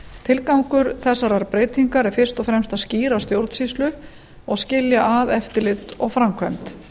tilgangur þessarar breytingar er fyrst og fremst að skýra stjórnsýslu og skilja að eftirlit og framkvæmd